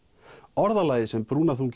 orðalagið sem